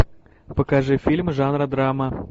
покажи фильм жанра драма